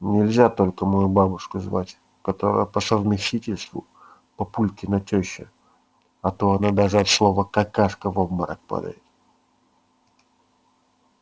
нельзя только мою бабушку звать которая по совместительству папулькина тёща а то она даже от слова какашка в обморок падает